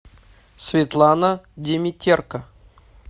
светлана димитерко